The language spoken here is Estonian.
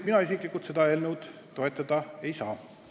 Mina isiklikult seda eelnõu toetada ei saa.